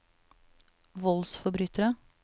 voldsforbrytere